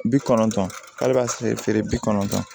Bi kɔnɔntɔn ale b'a feere bi kɔnɔntɔn